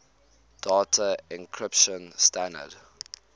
data encryption standard